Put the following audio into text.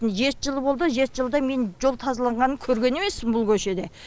жет жылы болды жеті жылда мен жол тазаланғанын көреген емеспін бұл көшеде